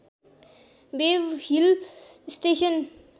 wave hill station